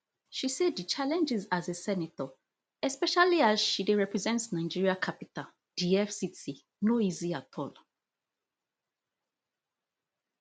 she say di challenges as a senator especially as she dey represent nigeria capital di fct no easy at all